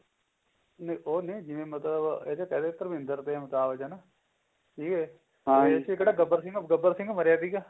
ਉਹਨੇ ਜਿਵੇਂ ਮਤਲਬ ਇਹਦਾ ਕਿਹਦੇ ਧਰਮਿੰਦਰ ਤੇ ਅਮਿਤਾਭ ਬਚਨ ਸੀਗੇ ਗੱਬਰ ਸਿੰਘ ਗੱਬਰ ਸਿੰਘ ਮਰਿਆ ਸੀਗਾ